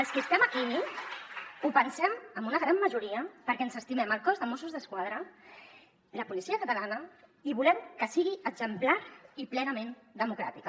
els qui estem aquí ho pensem en una gran majoria perquè ens estimem el cos de mossos d’esquadra la policia catalana i volem que sigui exemplar i plenament democràtica